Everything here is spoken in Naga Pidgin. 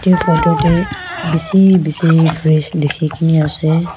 edu photo tae bisi bisi fresh dikhikae ne ase.